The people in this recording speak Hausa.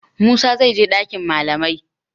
Musa zai je dakin malamai.